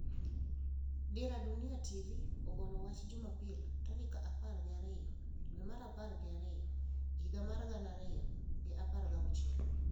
Dira Dunia TV ogolo wach jumapil tarik apar gi ariyo dwe mar apar gi ariyo higa mar gana ariyo gi apar gi auchiel